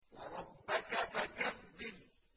وَرَبَّكَ فَكَبِّرْ